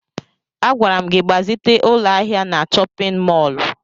Agwara m gị gbazite ụlọ ahịa na chọpịn mọọlụ!